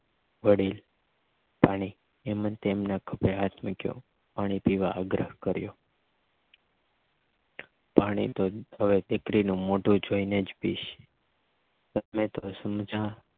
વળી પાણી એમજ તેના ખભે હાથ મૂકીયો પાણી પીવા આગ્રહ કર્યો પાણી તો હવે તે પેલી મોઢું જોઈને જ પીશ તમે તો સમજ્યા